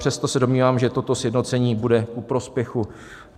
Přesto se domnívám, že toto sjednocení bude ku prospěchu.